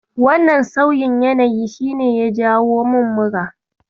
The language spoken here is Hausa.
Wannan sauyin yanayin shi ne ya jawo min mura.